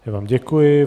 Já vám děkuji.